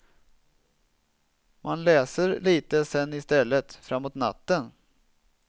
Man läser lite sen i stället, framåt natten.